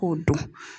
K'o dɔn